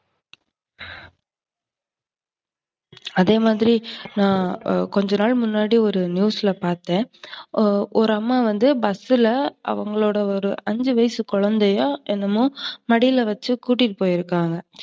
அதேமாதிரி கொஞ்சநாள் முன்னாடி ஒரு news ல பாத்தேன். ஒரு அம்மா வந்து bus ல அவங்களோட ஒரு அஞ்சு வயசு குழந்தையோ, என்னமோ மடியில வச்சு கூட்டி போயிருக்காங்க